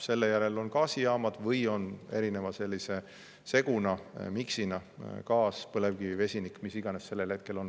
Selle järel on gaasijaamad või on sellise seguna, miksina gaas-põlevkivi-vesinik või mis iganes sellel hetkel on.